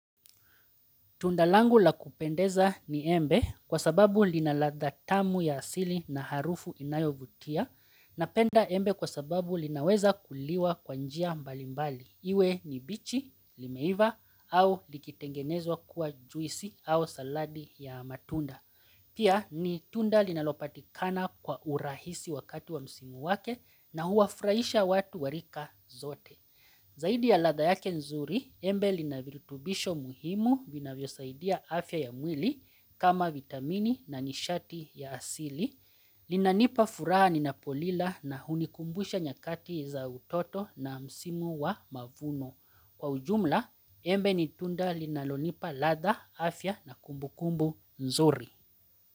Tundalangu la kupendeza ni embe kwa sababu linaladha tamu ya asili na harufu inayovutia na penda embe kwa sababu linaweza kuliwa kwanjia mbali mbali. Iwe ni bichi, limeiva au likitengenezwa kuwa juisi au saladi ya matunda. Pia ni tunda linalopati kana kwa urahisi wakati wa msimu wake na huafraisha watu warika zote. Zaidi ya latha yake nzuri, embe linavirutubisho muhimu vina vyo saidia afya ya mwili kama vitamini na nishati ya asili. Linanipa furaha ninapolila na hunikumbusha nyakati za utoto na msimu wa mavuno. Kwa ujumla, embe nitunda linalonipa ladha, afya na kumbukumbu nzuri.